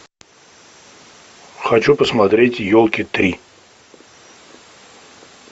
хочу посмотреть елки три